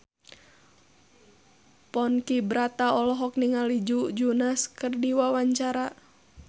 Ponky Brata olohok ningali Joe Jonas keur diwawancara